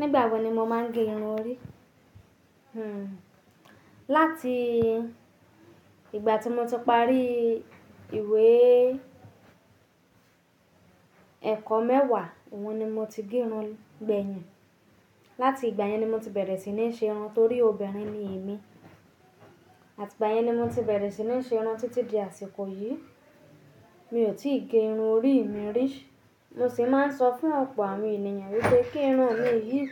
Nígbà wo ni mo máa ń gé irun orí? Hmm. Láti ìgbà tí mo ti parí ìwé ẹ̀kọ́ mẹ́wàá, ohun ni mo ti gé irun gbẹ̀yìn. Láti ìgbà yẹn ni mo ti bẹ̀rẹ̀ sí ní ṣe irun torí obìnrin ni èmi. Àti ìgbà yẹn ni mo ti bẹ̀rẹ̀ sí ní ṣe irun títí di àsìkò yìí. Mi ò tí ì gé irun orí mi rí. Mo sì máa ń sọ fún ọ̀pọ̀ àwọn ènìyàn wípé kí irun mi yìí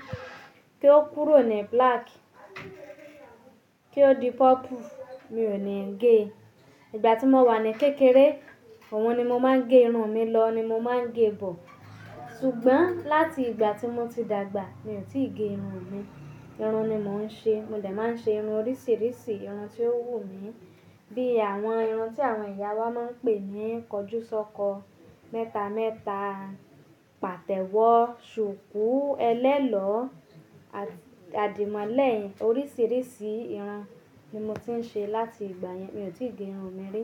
kí ó kúrò ní black, kí ó di purple, mi ò ní gé. Ìgbà tí mo wà ní kékeré, ohun ni mo máa ń gé irun mi lọ ni mo máa ń gé bọ̀. Ṣùgbọ́n láti ìgbà tí mo ti dàgbà, mi ò tí ì gé irun mi. Ìrún ni mo ń ṣe. Mo ldẹ máa ń ṣe irun oríṣìíríṣìí, irun tí ó wù mí. Bí àwọn irun tí àwọn ìyá wa máa ń pè ní kọjúsọ́kọ, mẹ́ta mẹ́ta, pàtẹ́wọ́, ṣùkú, ẹlẹ́lọ́, àdìmọ́lẹ̀, orísìírísìí irun ni mo ti ń ṣe láti ìgbà yẹn. Mi ò tí ì gé irun mi rí.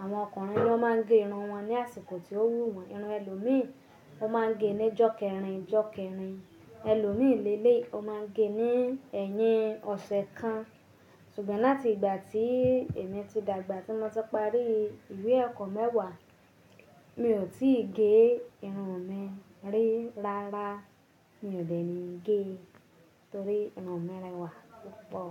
Àwọn ọkùnrin ló máa ń gé irun wọn ní àsìkò tí ó wù wọ́n. Irun ẹlòmí, wọ́n máa ń gé ní jọ́kẹ́rìn jọ́kẹ́rìn. Ẹlòmí lè lè yi, ó máa ń gẹ ní ẹ̀yìn ọ̀sẹ̀ kan. Ṣùgbọ́n láti ìgbà tí èmi ti dàgbà, tí mo ti parí ìwé ẹ̀kọ́ mẹ́wàá, mi ò tí ì gé irun mi rí rárá. Mi ò dẹ ní gé e, torí irun mi rẹwà púpọ̀.